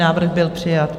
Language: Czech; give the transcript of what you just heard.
Návrh byl přijat.